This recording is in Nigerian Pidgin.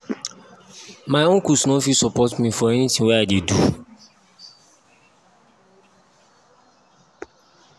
my own uncles no fit support me for anytin wey i i dey do.